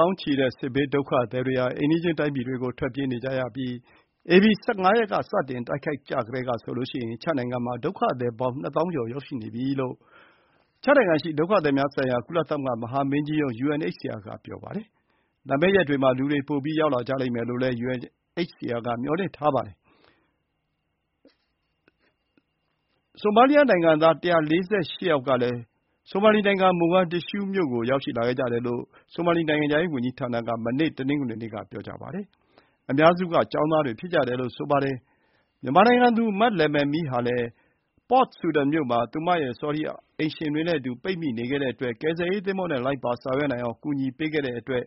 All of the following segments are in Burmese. ောင်းချီတဲ့စစ်ဘေးဒုက္ခသည်တွေဟာ အိမ်နီးချင်းတိုင်းပြည်တွေကို ထွက်ပြေးနေကြရပြီး ဧပြီ ၁၅ ရက် စတင်တိုက်ခိုက်ကြကတည်းကဆိုရင် ချဒ် နိုင်ငံမှာ ဒုက္ခသည်ပေါင်း ၂ သောင်းကျော် ရောက်နေကြပြီလို့ ချဒ်နိုင်ငံရှိ ဒုက္ခသည်များဆိုင်ရာ ကုလသမဂ္ဂမဟာမင်းကြီး ရုံး UNHCR က ဆိုပါတယ်။ လာမယ့်ရက်တွေမှာ လူတွေ ပိုရောက်လာကြမယ်လို့ UNHCR က မျှော်လင့်ထားကြောင်း ပြောပါတယ်။ ဆိုမာလီနိုင်ငံသား ၁၄၈ ယောက်ကလည်း ဆိုမာလီနိုင်ငံ မိုဂါဒစ်ရှူးမြို့ကို ရောက်ရှိလာခဲ့ကြတယ်လို့ ဆိုမာလီ နိုင်ငံခြားရေးဝန်ကြီးဌာနက မနေ့ တနင်္ဂနွေနေ့ က ပြောပါတယ်။ အများစုက ကျောင်းသားတွေဖြစ်ကြတယ်လို့ ပြောပါတယ်။ မြန်မာနိုင်ငံသူ မလယ်မယ်မီးဟာလည်း Port Sudan မြို့မှာ သူမရဲ့ ဆော်ဒီ အိမ်ရှင်တွေနဲ့အတူ ပိတ်မိနေခဲ့တဲ့အတွက် ကယ်ဆယ်ရေးသင်္ဘောနဲ့ လိုက်ပါဆောင်ရွက်နိုင်အောင် ကူညီဆောင်ရွက်ပေးခဲ့တဲ့အတွက်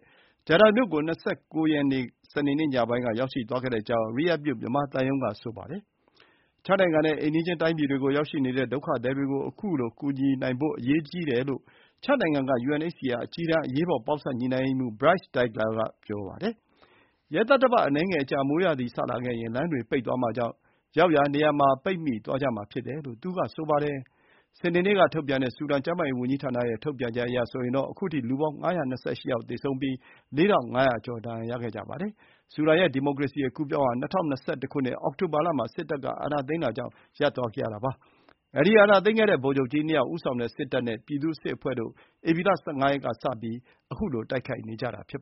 ဂျက်ဒါမြို့ကို ၂၉-၄-၂၀၂၃ ရက် (စနေနေ့) ညပိုင်းက ရောက်ရှိသွားခဲ့ကြောင်း ရီရတ်ဒ်မြို့ မြန်မာသံရုံး က ပြောပါတယ်။ ချဒ်နိုင်ငံနဲ့ အိမ်နီးချင်းတိုင်းပြည်တွေကို ရောက်ရှိနေကြတဲ့ ဒုက္ခသည်တွေကို အခုကူညီနိုင်ဖို့ အရေးကြီးတယ်လို့ ချဒ်နိုင်ငံ UNHCR က အကြီးတန်း အရေးပေါ် ပေါင်းစပ်ညှိုနှိုူင်းရေးမှူး Brice Degla က ပြောပါတယ်။ ရက်သတ္တပတ် အနည်းငယ်အကြာ မိုးရာသီ စလာခဲ့ရင် လမ်းတွေပိတ်သွားမှာကြောင့်ရောက်ရာနေရာမှာ ပိတ်မိသွားကြမှာဖြစ်တယ်လို့ သူကဆိုပါတယ်။ စနေနေ့ကထုတ်ပြန်တဲ့ ဆူဒန်ကျန်းမာရေးဝန်ကြီးဌာနရဲ့ ထုတ်ပြန်ချက်အရ အခုထိ လူပေါင်း ၅၂၈ ယောက် သေဆုံးပြီး ၄,၅၀၀ ကျော် ဒဏ်ရာရခဲ့ပါတယ်။ ဆူဒန်ရဲ့ ဒီမိုကရေစီအကူးအပြောင်းဟာ ၂၀၂၁ ခုနှစ် အောက်တိုဘာလမှာ စစ်တပ်က အာဏာသိမ်းတာကြောင့် ရပ်သွားခဲ့ရတာပါ။ အဲဒီ အာဏာသိမ်းခဲ့တဲ့ ဗိုလ်ချုပ်ကြီး ၂ ယောက် ဦးဆောင်တဲ့စစ်တပ်နဲ့ ပြည်သူ့စစ်အဖွဲ့တို့ ဧပြီလ ၁၅ ရက်ကစပြီး တိုက်ခိုက်နေကြတာဖြစ်ပါ